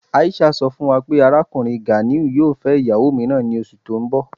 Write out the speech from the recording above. Aisha sọ́ fún wà pé Arákùnrin Ganiu yóò fẹ́ ìyàwó míìràn ní ọṣù tí n bọ̀.